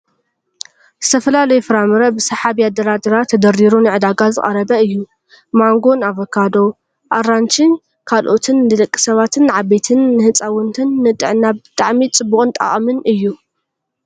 ዝተፈላለዩ ፍራምረ ብሳሓቢ ኣደራድራ ተደርዲሩ ንዕዳጋ ዝቀረበ እዩ። ማንጎን ኣቫካዶ፣ ኣራንሺ ካልኦትን ንደቂ ሰባት ንዓበይቲን ንህፃውንትን ንጥዕና ብጣዕሚ ፅቡቅን ጠቃሚን እዩ።